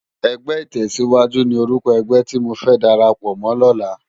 Ègbè itèsíwájú ni órúkò ègbè ti mó fè dàrápò mò lòlá